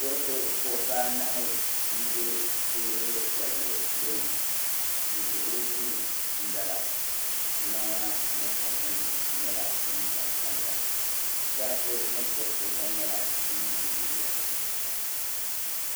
Kuriti Kuɣisi anahi n ʒe teebuli piɛlli gbuni du'duɣili duu m-bala ŋmana ni kapunima nyɛla din tam tam ya chɛriti ni gba nyɛla din yeli yeli ya